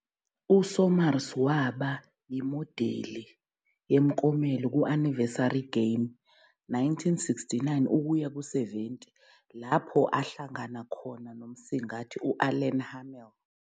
USomers waba imodeli yemiklomelo ku- "Anniversary Game", 1969-70, lapho ahlangana khona nomsingathi u-Alan Hamel.